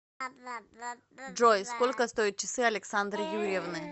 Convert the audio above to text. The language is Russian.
джой сколько стоят часы александры юрьевны